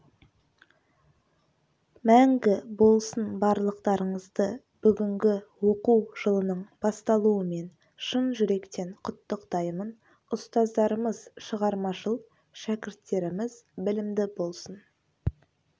мәңгі болсын барлықтарыңызды бүгінгі оқу жылының басталуымен шын жүректен құттықтаймын ұстаздарымыз шығармашыл шәкірттеріміз білімді болсын